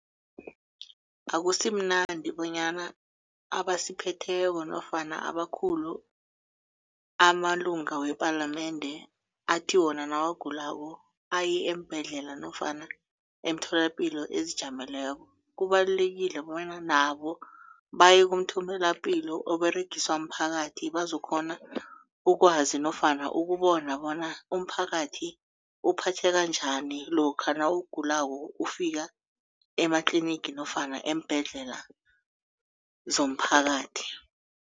Akusimnandi bonyana abasiphetheko nofana abakhulu amalunga wepalamende athi wona nawugulako aye eembhedlela nofana emtholapilo ezijameleko kubalulekile bonyana nabo baye kumtholapilo oberegiswa mphakathi bazokukghona ukwazi nofana ukubona bona umphakathi uphatheka njani lokha nawugulako ufika ematlinigi nofana eembhedlela zomphakathi.